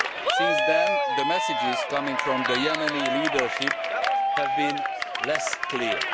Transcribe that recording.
Since then, the messages coming from the Yemeni leadership have been less